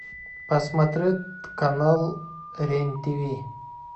посмотреть канал рен тв